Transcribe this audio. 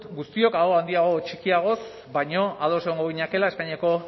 guztiok aho handiagoz o txikiagoz baina ados egongo ginatekeela espainiako